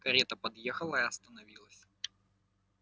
карета подъехала и остановилась